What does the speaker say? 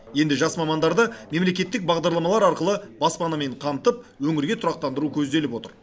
енді жас мамандарды мемлекеттік бағдарламалар арқылы баспанамен қамтып өңірге тұрақтандыру көзделіп отыр